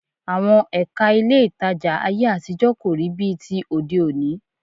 Àwọn Ẹ̀ka ilé ìtajà ayé àtijọ́ kò rí bíi ti òde òní